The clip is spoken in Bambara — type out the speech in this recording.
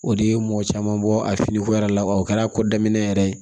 O de ye mɔgɔ caman bɔ a finiko yɛrɛ la wa o kɛra ko daminɛ yɛrɛ ye